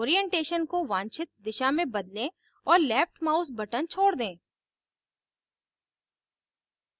orientation को वांछित दिशा में बदलें और left mouse button छोड़ दें